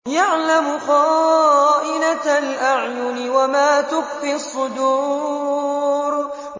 يَعْلَمُ خَائِنَةَ الْأَعْيُنِ وَمَا تُخْفِي الصُّدُورُ